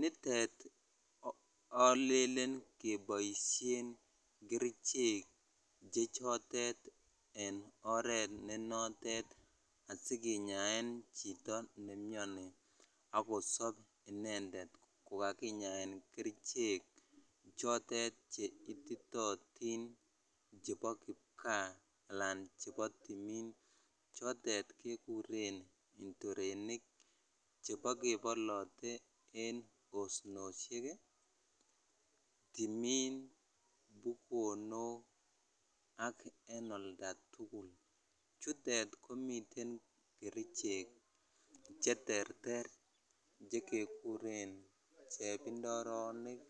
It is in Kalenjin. nitet alelen keboisien kerichek che chotet en oret nenotet asikinyaen chito nemiani akosop inendet kokakinyaen kerichek chotet che ititootin chepo kipkaa alan chebo timin chotet kekuren ndorenik chebo kebolote en osnosiek, timin, bukonok ak en oltatugul chutet komiten kerichek cheterter chekekuren chepindoronik,